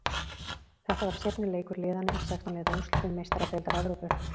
Þetta var seinni leikur liðana í sextán liða úrslitum Meistaradeildar Evrópu.